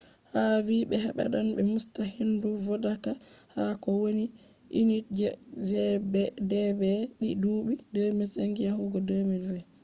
hu vi be habdan be musta hendu vodaka ha ko wani unitje gdp di dubi 2005 yahugo 2020.